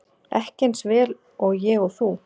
Ekki eins vel og ég og þú.